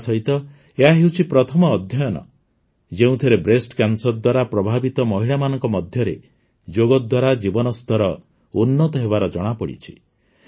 ତାସହିତ ଏହାହେଉଛି ପ୍ରଥମ ଅଧ୍ୟୟନ ଯେଉଁଥିରେ ବ୍ରେଷ୍ଟ କ୍ୟାନ୍ସର ଦ୍ୱାରା ପ୍ରଭାବିତ ମହିଳାମାନଙ୍କ ମଧ୍ୟରେ ଯୋଗ ଦ୍ୱାରା ଜୀବନ ସ୍ତର ଉନ୍ନତ ହେବାର ଜଣାପଡିଛି